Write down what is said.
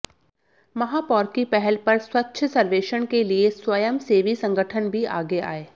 महापौर की पहल पर स्वच्छ सर्वेक्षण के लिए स्वयंसेवी संगठन भी आगे आए